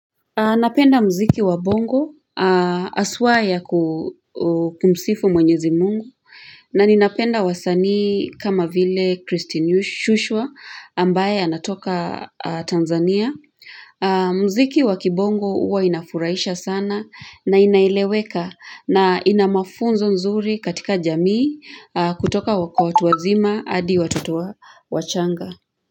Napenda mziki wa bongo haswa ya kumsifu mwenyezi mungu na ninapenda wasanii kama vile Christine Shusho ambaye anatoka Tanzania Mziki wa kibongo huwa inafuraisha sana na inaeleweka na ina mafunzo nzuri katika jamii kutoka wako watu wazima hadi watoto wachanga.